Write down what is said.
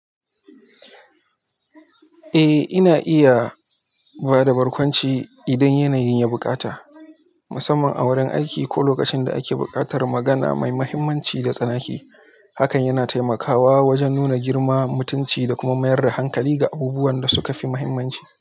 Eh, ina iya ba da barkwanci idan yanayin ya buƙata, musamman a wurin aiki ko lokacin da ake buƙatar magana mai mahimmanci da tsanaki. Hakan yana taimakawa wajen nuna girma mutunci da kuma mayar da hankali ga abubuwan da suka fi mahimmanci.